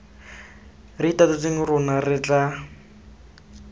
re itatotseng rona re tla